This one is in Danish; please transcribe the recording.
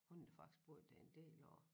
Hun har faktisk boet dér en del år